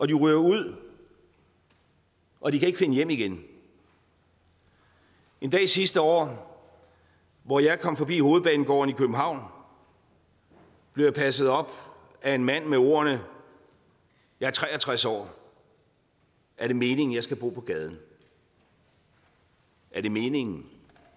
de ryger ud og de kan ikke finde hjem igen en dag sidste år hvor jeg kom forbi hovedbanegården i københavn blev jeg passet op af en mand med ordene jeg er tre og tres år er det meningen jeg skal bo på gaden er det meningen